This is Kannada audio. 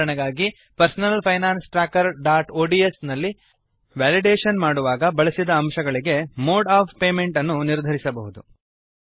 ಉದಾಹರಣೆಗಾಗಿ personal finance trackerಒಡಿಎಸ್ ನಲ್ಲಿ ವೆಲಿಡೇಶನ್ ಮಾಡುವಾಗ ಬಳಸಿದ ಅಂಶಗಳಿಗೆ ಮೋಡ್ ಒಎಫ್ ಪೇಮೆಂಟ್ ಅನ್ನು ನಿರ್ಧರಿಸಬಹುದು